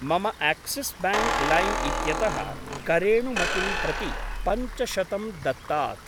मम आक्सिस् ब्याङ्क् लैम् इत्यतः करेणुमतिं प्रति पञ्चशतं दत्तात्।